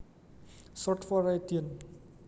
Short for radian